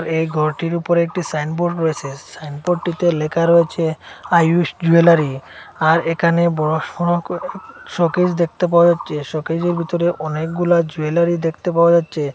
এই ঘরটির উপরে একটি সাইনবোর্ড রয়েসে সাইনবোর্ডটিতে লেখা রয়েছে আয়ুশ জুয়েলারি আর এখানে বড়োসড়ো কইরা শোকেস দেখতে পাওয়া যাচ্ছে শোকেজের ভিতরে অনেকগুলা জুয়েলারি দেখতে পাওয়া যাচ্ছে।